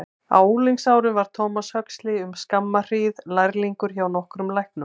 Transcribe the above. Á unglingsárum var Thomas Huxley um skamma hríð lærlingur hjá nokkrum læknum.